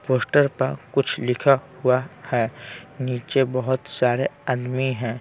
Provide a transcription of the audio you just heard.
Poster पर कुछ लिखा हुआ हैं नीचे बहुत सारे आदमी हैं।